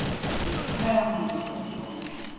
হ্যাঁ হ্যাঁ আমি যেতে পারবো অবশ্যই